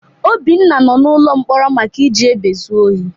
Obinna nọ n'ụlọ mkpọrọ maka iji egbe zu ohi.